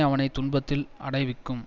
அவனை துன்பத்தில் அடைவிக்கும்